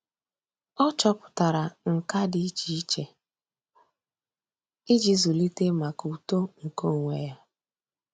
Ọ́ chọ́pụ̀tárà nkà dị́ iche iche íjí zụ́líté màkà uto nke onwe ya.